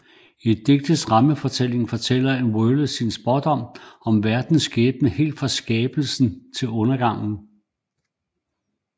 I digtets rammefortælling fortæller en Vølve sin spådom om verdens skæbne helt fra skabelsen til undergangen